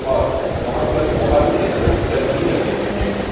और वहां पर बहोत से पोस्टर भी लगे हुए हैं।